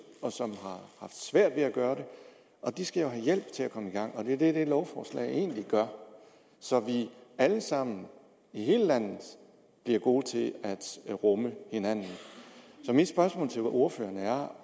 og som har svært ved at gøre det og de skal jo have hjælp til at komme i gang og det er det det lovforslag egentlig gør så vi alle sammen i hele landet bliver gode til at rumme hinanden så mit spørgsmål til ordføreren er om